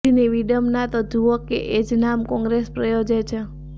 વિધિની વિડંબના તો જૂઓ કે એ જ નામ કોંગ્રેસ પ્રયોજે છે